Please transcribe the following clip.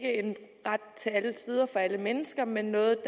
ret til alle tider for alle mennesker men noget